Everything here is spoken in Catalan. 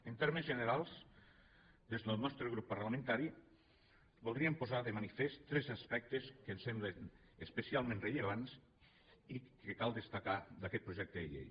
en termes generals des del nostre grup parlamentari voldríem posar de manifest tres aspectes que ens semblen especialment rellevants i que cal destacar d’aquest projecte de llei